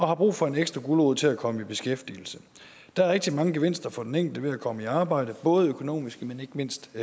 har brug for en ekstra gulerod til at komme i beskæftigelse der er rigtig mange gevinster for den enkelte ved at komme i arbejde både økonomiske men ikke mindst